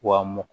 Wa m